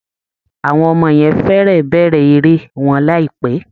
Àwọn ọmọ yẹn fẹ́rẹ̀ẹ́ bẹ̀rẹ̀ eré wọn láìpẹ́